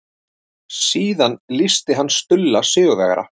Síðan lýsti hann Stulla sigurvegara.